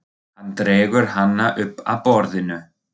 Hann dregur hana upp að borðinu.